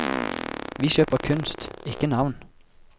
Vi kjøper kunst, ikke navn.